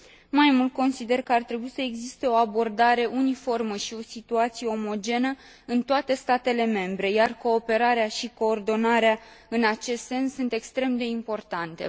Mai mult, consider că ar trebui să existe o abordare uniformă și o situație omogenă în toate statele membre, iar cooperarea și coordonarea în acest sens sunt extrem de importante.